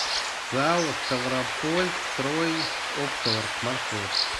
зао ставропольстройопторг маршрут